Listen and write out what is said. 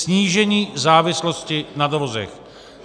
Snížení závislosti na dovozech.